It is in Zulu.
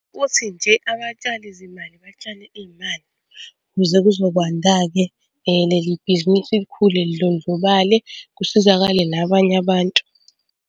Futhi nje abatshali zimali batshale iy'mali ukuze kuzokwanda-ke leli bhizinisi likhule lidlondlobale, kusizakale nabanye abantu.